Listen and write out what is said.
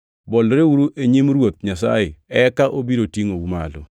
Bolreuru e nyim Ruoth Nyasaye eka obiro otingʼou malo.